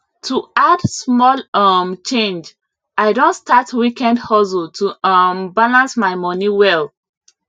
to add small um change i don start weekend hustle to um balance my money well